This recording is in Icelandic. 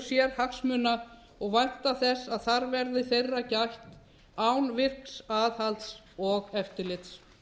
kröfu sérhagsmuna og vænta þess að þar verði þeirra gætt án virks aðhalds og eftirlits